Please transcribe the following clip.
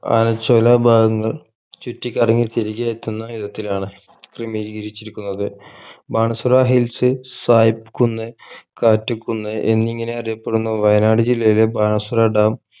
ആനച്ചോല ഭാഗങ്ങൾ ചുറ്റിക്കറങ്ങി തിരികെ എത്തുന്ന വിധത്തിലാണ് ക്രമീകരിച്ചിരിന്നുന്നത് ബാണാസുര hills സായിപ് കുന്ന് കാറ്റ് കുന്ന് എന്നിങ്ങനെ അറിയപ്പെടുന്ന വയനാട് ജില്ലയിലെ ബാണാസുര dam